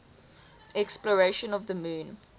exploration of the moon